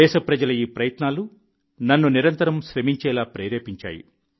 దేశప్రజల ఈ ప్రయత్నాలు నన్ను నిరంతరం శ్రమించేలా ప్రేరేపించాయి